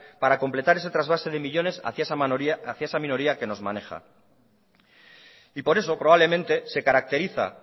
para completar ese trasvase de millónes hacia esa minoría que nos maneja y por eso probablemente se caracteriza